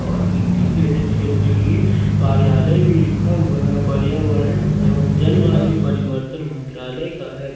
और इंटीग्रेटेड क्षेत्रीय कार्यालय भी लिखा हुआ है पर्यावरण एवं जलवायु परिवर्तन मंत्रालय का है।